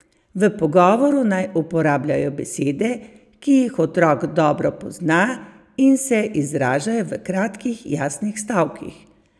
V pogovoru naj uporabljajo besede, ki jih otrok dobro pozna, in se izražajo v kratkih, jasnih stavkih.